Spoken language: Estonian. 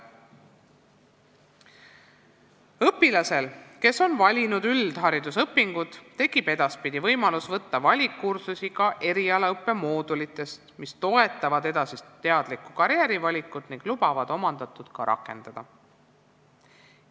Õpilasel, kes on valinud üldharidusõpingud, tekib edaspidi võimalus võtta valikkursusi ka erialaõppe moodulitest, mis toetavad edasist teadlikku karjäärivalikut ning lubavad omandatut ka rakendada.